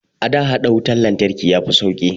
A da, haɗa wutar lantarki ya fi sauƙi